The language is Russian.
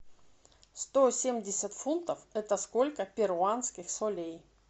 сто семьдесят фунтов это сколько перуанских солей